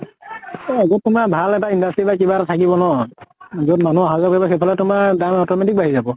এ আগত কোন বা ভাল এটা industry বা কিবা এটা থাকিব ন, যʼত মানুহ আহা যোৱা কৰিব সেইফালে তোমাৰ দাম automatic বাঢ়ি যাব।